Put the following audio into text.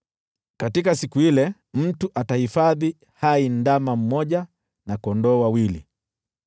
Katika siku ile, mtu atahifadhi hai ndama mmoja na kondoo wawili.